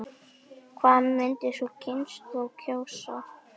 Hvað myndi sú kynslóð kjósa?